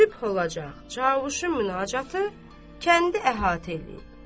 Sübh olacaq cavuşun münacatı kəndi əhatə eləyib.